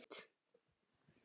Fá sér stóran hund?